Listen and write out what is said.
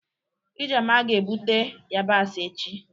Ijeoma ga-ebute yabasị echi.